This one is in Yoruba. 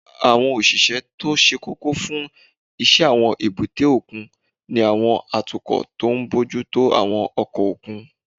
Àwọn òṣìṣẹ́ tó ṣe kókó fún iṣẹ́ àwọn èbúté òkun ni àwọn atukọ̀ tó ń bójú tó àwọn ọkọ̀ òkun